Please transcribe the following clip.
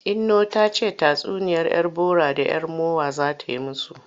Inno ta ce tatsuniyar 'yar bora da 'yar mowa za ta yi musu.